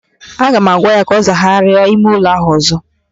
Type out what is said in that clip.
Aga m agwa ya ka ọ zagharịa ime ụlọ ahụ ọzọ!